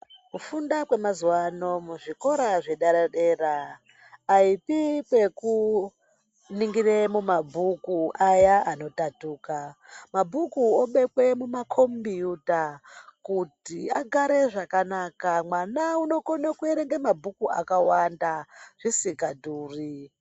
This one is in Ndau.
Kufunda kwemazuva ano kuzvikora zvedera dera aipi yekuningira mabhuku aya anodambuka mabhuku onekwa mumakombiyuta kuti agare zvakanaka mwana anokona kuverenga mabhuku akawanda zvisingadhuri.